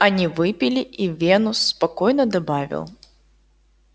они выпили и венус спокойно добавил